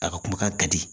A ka kumakan ka di